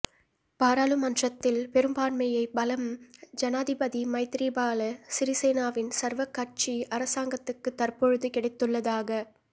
பாராளுமன்றத்தில் பெரும்பான்மைப் பலம் ஜனாதிபதி மைத்திரிபால சிறிசேனவின் சர்வ கட்சி அரசாங்கத்துக்கு தற்பொழுது கிடைத்துள்ளதாக